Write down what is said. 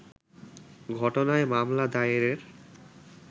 ঘটনায় মামলা দায়েরের